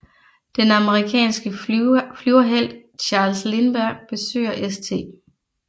Den amerikanske flyverhelt Charles Lindberg besøger St